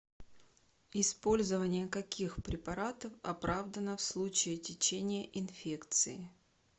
использование каких препаратов оправдано в случае течения инфекции